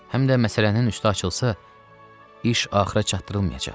Həm də məsələnin üstü açılsa, iş axıra çatdırılmayacaq.